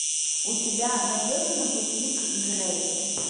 у тебя найдется на пути к грейс